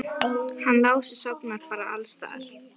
Hann Lási sofnar bara alls staðar.